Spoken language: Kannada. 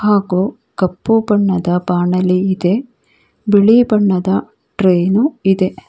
ಹಾಗೂ ಕಪ್ಪು ಬಣ್ಣದ ಬಾಣಲಿ ಇದೆ ಬಿಳಿ ಬಣ್ಣದ ಟ್ರೈ ನು ಇದೆ.